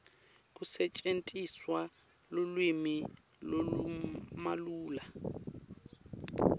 kusetjentiswe lulwimi lolumalula